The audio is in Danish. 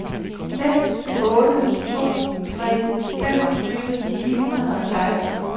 fem otte to tre femogtyve ni hundrede og seksten